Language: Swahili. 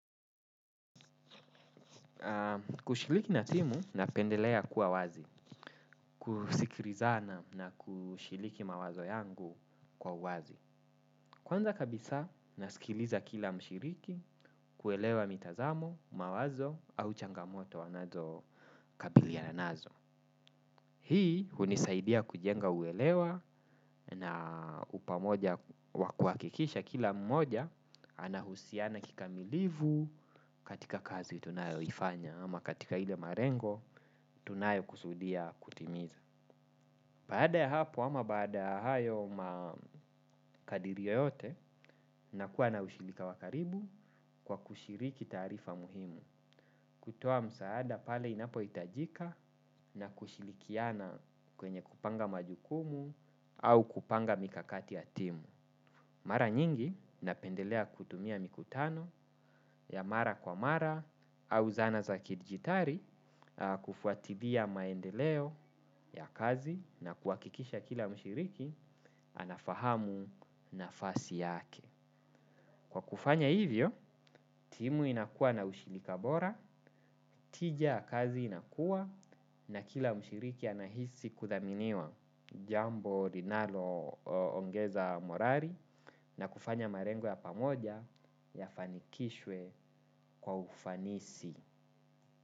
Kushliki na timu, napendelea kua wazi. Kusikirizana na kushiliki mawazo yangu kwa uwazi. Kwanza kabisa, nasikiliza kila mshiriki, kuelewa mitazamo, mawazo au changamoto wanazo kabiliana nazo. Hii, hunisaidia kujenga uelewa na upamoja wakuakikisha kila mmoja anahusiana kikamilivu, katika kazi tunayoifanya ama katika ile marengo tunayo kusudia kutimiza. Baada ya hapo ama baada hayo makadiri yeyote na kua na ushilika wakaribu kwa kushiriki taarifa muhimu. Kutoa msaada pale inapoitajika na kushilikiana kwenye kupanga majukumu au kupanga mikakati ya timu. Mara nyingi, napendelea kutumia mikutano, ya mara kwa mara au zana za kidigitari kufuatilia maendeleo ya kazi na kuhakikisha kila mshiriki anafahamu nafasi yake. Kwa kufanya hivyo, timu inakua na ushilika bora, tija ya kazi inakua na kila mshiriki anahisi kuthaminiwa jambo linalo ongeza morari na kufanya marengo ya pamoja yafanikishwe kwa ufanisi.